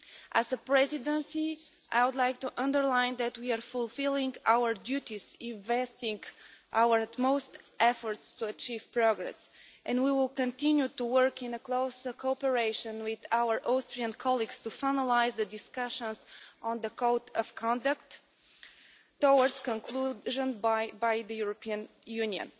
As the Presidency, I would like to underline that we are fulfilling our duties and investing our utmost efforts to achieve progress, and we will continue to work in closer cooperation with our Austrian colleagues to finalise the discussions on the code of conduct towards conclusion by the European Union.